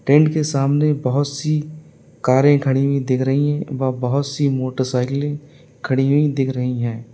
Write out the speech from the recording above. Tent के सामने बोहत सी कारे खड़ी हुई दिख रही है व बोहोत सी मोटरसाइकिलें खड़ी हुई दिख रही हैं।